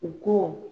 U ko